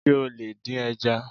Sé o lè dín ẹja?